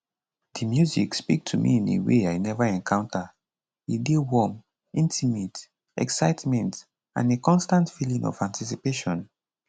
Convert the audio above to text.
di music speak to me in a way i neva encounter e dey warm intimate excitement and a constant feeling of anticipation